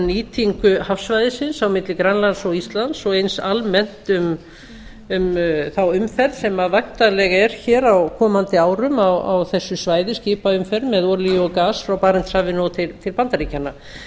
nýtingu hafsvæðisins á milli grænlands og íslands og eins almennt um þá umferð sem væntanleg er á komandi árum á þessu svæði skipaumferð með olíu og gas frá barentshafi og til bandaríkjanna